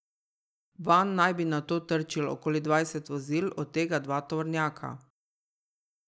Vanj naj bi nato trčilo okoli dvajset vozil, od tega dva tovornjaka.